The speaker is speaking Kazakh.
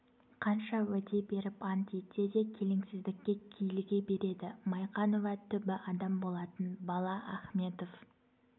қанша уәде беріп ант етсе де келеңсіздікке киліге береді майқанова түбі адам болатын бала ахметов